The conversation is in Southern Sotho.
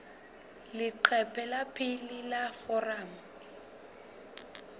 leqephe la pele la foromo